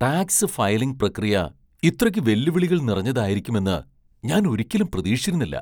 Tax filing പ്രക്രിയ ഇത്രയ്ക്ക് വെല്ലുവിളികൾ നിറഞ്ഞതായിരിക്കുമെന്ന് ഞാൻ ഒരിക്കലും പ്രതീക്ഷിച്ചിരുന്നില്ല.